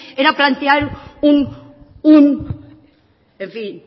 era plantear un en fin